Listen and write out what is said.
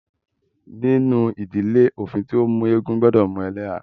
Nínú ìdílé, òfin tí o mú eégún gbọdọ mú ẹlẹ́há.